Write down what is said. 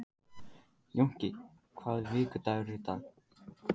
Jónki, hvaða vikudagur er í dag?